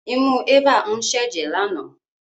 Imú Eva ń ṣẹ jẹ lana.